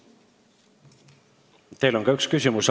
Teile on ka üks küsimus.